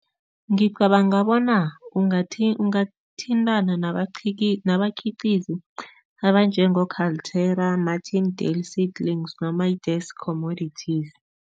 Ngicabanga bona ungathintana nabakhiqizi abanjengo-Kaltura Martin Dale Seedligs noma Commodities.